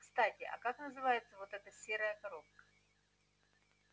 кстати а как называется вот эта серая коробка